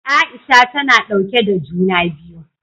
Aisha ta na ɗauke da juna biyu.